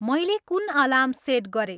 मैले कुन alarm set गरेँ